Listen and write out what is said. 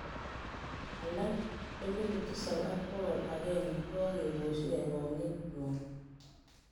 Alak elupu tisap ak bokol agenge kokokiposyi kergong'et nywan